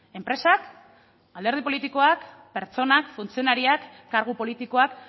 enpresak alderdi politikoak pertsonak funtzionarioak kargu politikoak